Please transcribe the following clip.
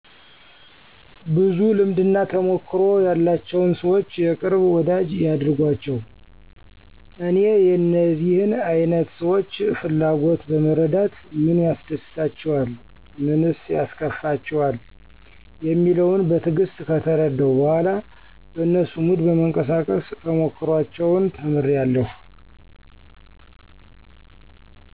ብዙ ልምድና ተሞክሮ ያላቸውን ሰዎች የቅርብ ወዳጂ ያድርጓቸው። እኔ የእነዚህን አይነት ሰዎች ፍላጎት በመረዳት ምን ያስደስታቸዋል? ምንስ ያስከፋቸዋል? የሚለውን በትዕግስት ከተረዳሁ በኋላ በነሱ ሙድ በመንቀሳቀስ ተሞክሮአቸውን ተምሬአለሁ።